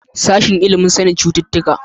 Sashen ilimin sanin cututtuka.